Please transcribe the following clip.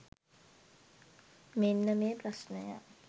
මෙන්න මේ ප්‍රශ්ණය.